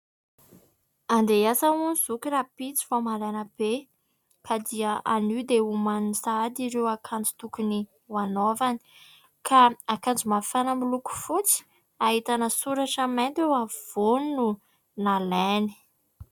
Andeha hiasa hono i zoky rahampitso vao maraina be, ka dia anio dia omaniny sahady ireo akanjo tokony hanaovany. Ka akanjo mafana miloko fotsy, ahitana soratra mainty eo afovoany no nalainy.